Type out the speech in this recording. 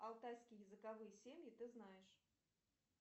алтайские языковые семьи ты знаешь